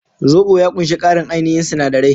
Zobo ya ƙunshi ƙarin ainihin sinadirai.